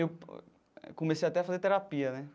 Eu comecei até a fazer terapia, né?